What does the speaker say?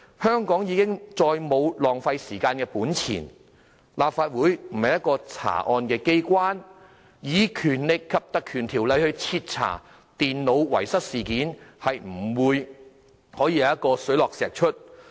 香港已再沒有本錢浪費時間，而立法會亦不是查案機關，以《條例》徹查電腦遺失事件，是不會水落石出的。